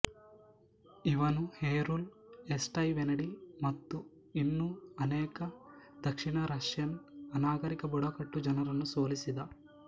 ಇವನು Heruli Aesti Venedi ಮತ್ತು ಇನ್ನೂ ಅನೇಕ ದಕ್ಷಿಣ ರಷ್ಯನ್ ಅನಾಗರಿಕ ಬುಡಕಟ್ಟು ಜನರನ್ನು ಸೋಲಿಸಿದ